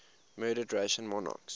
murdered russian monarchs